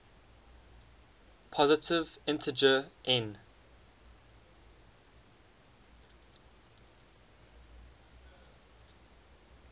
positive integer n